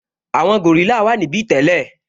Àwọn gòrílà wà níbí tẹ́lẹ̀